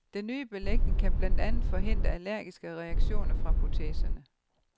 Den nye belægning kan blandt andet forhindre allergiske reaktioner fra proteserne.